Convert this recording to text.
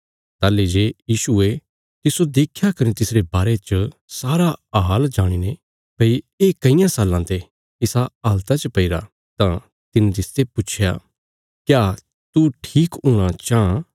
ताहली जे यीशुये तिस्सो देख्या कने तिसरे बारे च सारा हाल जाणीने भई ये कईयां साल्लां ते इसा हालता च पैईरा तां तिने तिसते पुच्छया क्या तू ठीक हूणा चाँह